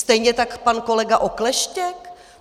Stejně tak pan kolega Okleštěk?